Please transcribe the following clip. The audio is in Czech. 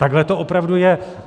Takhle to opravdu je.